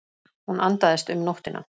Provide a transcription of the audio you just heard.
Hún andaðist um nóttina.